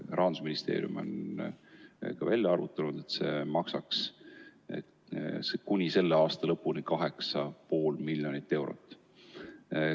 Rahandusministeerium on välja arvutanud, et see maksaks kuni selle aasta lõpuni 8,5 miljonit eurot.